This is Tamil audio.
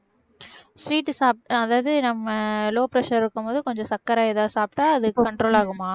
sweet சாப்பிட்டா அதாவது நம்ம low pressure இருக்கும்போது கொஞ்சம் சர்க்கரை ஏதாவது சாப்பிட்டா அது control ஆகுமா